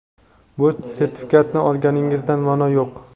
bu sertifikatni olganingizdan ma’no yo‘q.